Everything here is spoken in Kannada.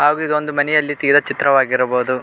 ಹಾಗೂ ಇದೊಂದು ಮನೆಯಲ್ಲಿ ತೆಗೆದಿರುವ ಚಿತ್ರವಾಗಿರಬಹುದು.